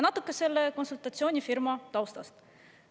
Natuke selle konsultatsioonifirma taustast.